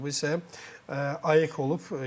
Sonuncu klubu isə AEK olub.